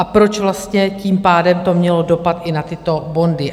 A proč vlastně tím pádem to mělo dopad i na tyto bondy?